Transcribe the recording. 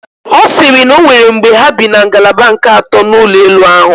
Ọ siri na onwere mgbe ha bi na ngalaba nke ato n'ụlọ elu ahụ